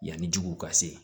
Yanni jugu ka se